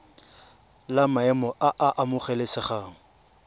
la maemo a a amogelesegang